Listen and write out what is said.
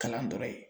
Kalan dɔrɔn ye